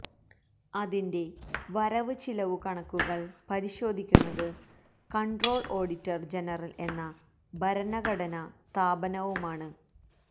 അതിന്റെ വരവ് ചിലവ് കണക്കുകള് പരിശോധിക്കുന്നത് കണ്ട്രോളര് ഓഡിറ്റര് ജനറല് എന്ന ഭരണഘടനാ സ്ഥാപനവുമാണ്